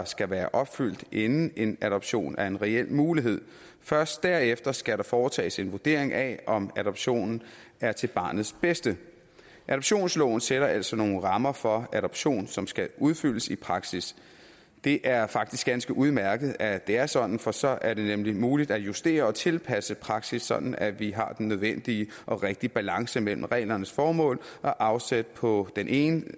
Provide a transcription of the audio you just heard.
skal være opfyldt inden en adoption er en reel mulighed først derefter skal der foretages en vurdering af om adoptionen er til barnets bedste adoptionsloven sætter altså nogle rammer for adoption som skal udfyldes i praksis det er faktisk ganske udmærket at det er sådan for så er det nemlig muligt at justere og tilpasse praksis sådan at vi har den nødvendige og rigtige balance mellem reglernes formål og afsæt på den ene